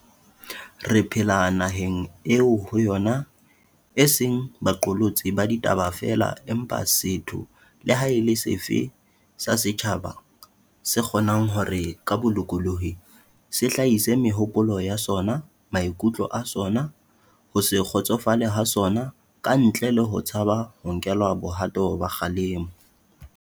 Re phela naheng eo ho yona e seng ba qolotsi ba ditaba feela empa setho le ha e le sefe sa setjhaba se kgo nang hore, ka bolokolohi, se hlahise mehopolo ya sona, maikutlo a sona, ho se kgotsofale ha sona ka ntle le ho tshaba ho nkelwa bohato ba kgalemo.